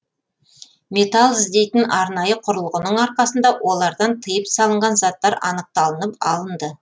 металл іздейтін арнайы құрылғының арқасында олардан тыйым салынған заттар анықталынып алынды